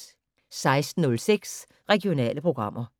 16:06: Regionale programmer